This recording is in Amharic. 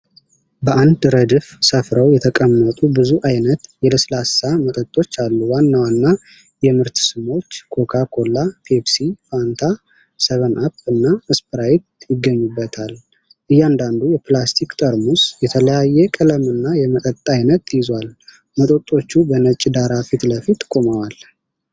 በአንድ ረድፍ ሰፍረው የተቀመጡ ብዙ ዓይነት የለስላሳ መጠጦች አሉ። ዋና ዋና የምርት ስሞች ኮካ-ኮላ፣ ፔፕሲ፣ ፋንታ፣ ሰቨን አፕ እና ስፕራይት ይገኙባቸዋል። እያንዳንዱ የፕላስቲክ ጠርሙስ የተለያየ ቀለምና የመጠጥ ዓይነት ይዟል። መጠጦቹ በነጭ ዳራ ፊት ለፊት ቆመዋል።